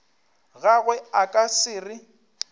gagwe a ka se re